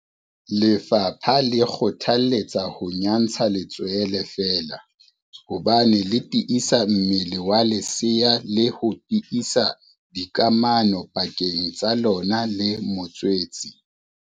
Lefapha le kgothaletsa ho nyantsha letswele feela hobane le tiisa mmele wa lesea le ho tiisa dikamano pakeng tsa lona le motswetse.